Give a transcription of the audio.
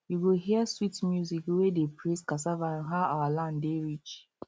you go hear sweet music wey dey praise cassava and how our land dey rich